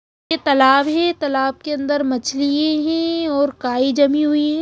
ये तलाब है तलाब के अंदर मछलिये है और काई जमी हुई है।